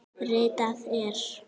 Ritað er